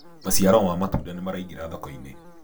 maciaro ma matunda nĩmaraingira thoko-inĩ